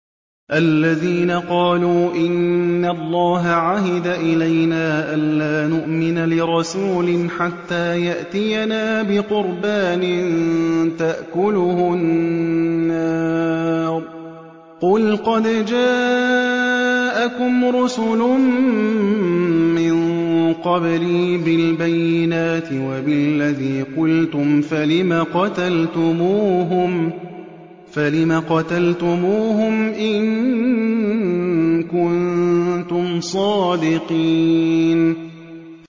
الَّذِينَ قَالُوا إِنَّ اللَّهَ عَهِدَ إِلَيْنَا أَلَّا نُؤْمِنَ لِرَسُولٍ حَتَّىٰ يَأْتِيَنَا بِقُرْبَانٍ تَأْكُلُهُ النَّارُ ۗ قُلْ قَدْ جَاءَكُمْ رُسُلٌ مِّن قَبْلِي بِالْبَيِّنَاتِ وَبِالَّذِي قُلْتُمْ فَلِمَ قَتَلْتُمُوهُمْ إِن كُنتُمْ صَادِقِينَ